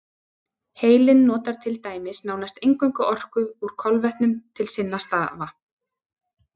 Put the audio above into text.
Heilinn notar til dæmis nánast eingöngu orku úr kolvetnum til sinna stafa.